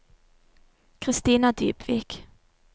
Kristina Dybvik